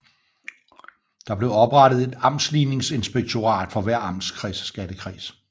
Der blev oprettet et amtsligningsinspektorat for hver amtsskattekreds